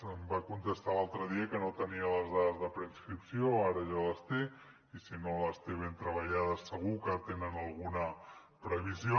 em va contestar l’altre dia que no tenia les dades de preinscripció ara ja les té i si no les té ben treballades segur que tenen alguna previsió